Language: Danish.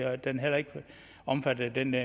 at den heller ikke er omfattet af den